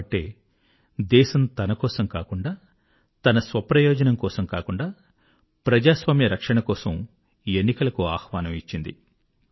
కాబట్టి దేశము తనకోసం కాకుండా తన స్వప్రయోజనం కోసం కాకుండా ప్రజాస్వామ్య రక్షణ కోసం ఎన్నికలకు ఆహ్వానం ఇచ్చింది